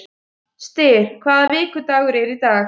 Styr, hvaða vikudagur er í dag?